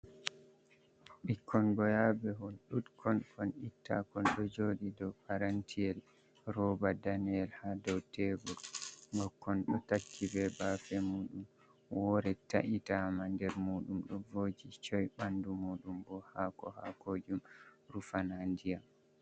Ɓikkol goyabe hol dudkon kon itta kol ɗo joɗi dow parantiyel rooba daneyel ha dow tebor bo kon ɗo takki be bafe mudum wore ta’itama nder mudum do voji coi ɓandu mujum bo hako ha kojum rufana ndiyam.